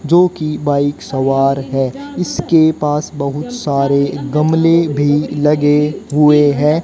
जोकि बाइक सवार है इसके पास बहुत सारे गमले भी लगे हुए हैं।